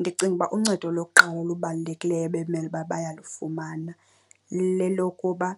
Ndicinga uba uncedo lokuqala olubalulekileyo bekumele uba bayalufumana lelokuba